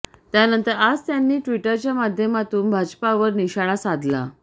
त्यानंतर आज त्यांनी ट्विटरच्या माध्यमातून भाजपावर निशाणा साधला